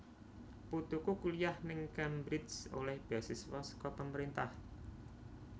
Putuku kuliah ning Cambridge oleh beasiswa seko pemerintah